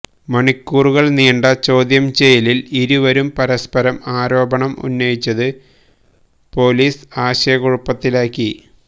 മണിക്കൂറുകള് നീണ്ട ചോദ്യം ചെയ്യല്ലില് ഇരുവരും പരസ്പരം ആരോപണം ഉന്നയിച്ചത് പൊലീസ് ആശയക്കുഴപ്പത്തിലാക്കി